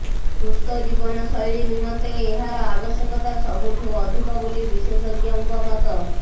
ସୁସ୍ଥ ଜୀବନଶୈଳୀ ନିମନ୍ତେ ଏହାର ଆବଶ୍ୟକତା ସବୁଠୁ ଅଧିକ ବୋଲି ବିଶେଷଜ୍ଞଙ୍କ ମତ